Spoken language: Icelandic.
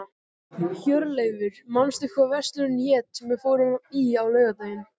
Hjörleifur, manstu hvað verslunin hét sem við fórum í á laugardaginn?